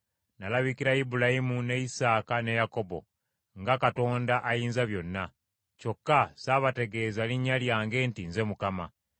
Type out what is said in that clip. Nalabikira Ibulayimu, ne Isaaka ne Yakobo nga Katonda Ayinzabyonna; kyokka saabategeeza linnya lyange nti Nze Mukama .